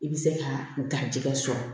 I bɛ se ka garijɛgɛ sɔrɔ